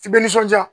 I bɛ nisɔnja